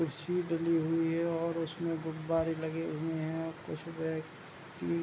कुर्सी डली हुई है और उसमें गुब्बारे लगे हुए हैं कुछ व्यक्ति --